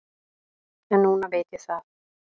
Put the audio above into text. En núna veit ég það.